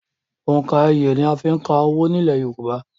Òǹkà iye ni a ń fí ka owó ní ilẹ̀ yorùbá